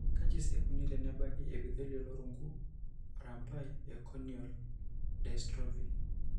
Kaji sa eikoni tenebaki eEpithelial orungu arambai corneal dystrophy?